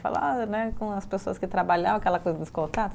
Falar né, com as pessoas que trabalhavam, aquela coisa dos contatos.